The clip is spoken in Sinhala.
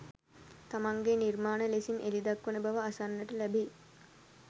තමන්ගේ නිර්මාණ ලෙසින් එළි දක්වන බව අසන්නට ලැබෙයි.